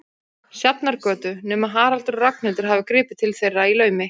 Sjafnargötu, nema Haraldur og Ragnhildur hafi gripið til þeirra í laumi.